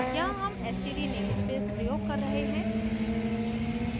यहाँ हम std namespace प्रयोग कर रहे हैं